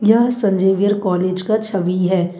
यह संजीवियर कॉलेज का छवि है।